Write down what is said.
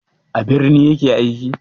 A birni ya ke aiki?